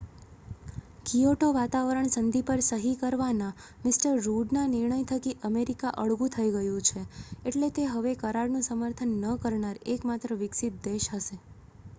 Kyoto વાતાવરણ સંધિ પર સહી કરવાના મિ રુડના નિર્ણય થકી અમેરિકા અળગું થઈ ગયું છે એટલે તે હવે કરારનું સમર્થન ન કરનાર એકમાત્ર વિકસિત દેશ હશે